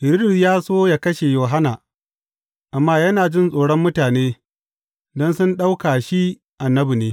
Hiridus ya so yă kashe Yohanna, amma yana jin tsoron mutane, don sun ɗauka shi annabi ne.